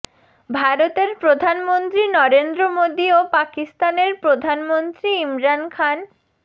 ভারতের প্রধানমন্ত্রী নরেন্দ্র মোদি ও পাকিস্তানের প্রধানমন্ত্রী ইমরান খান